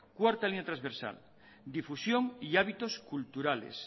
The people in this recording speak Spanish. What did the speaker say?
cuarta línea transversal difusión y hábitos culturales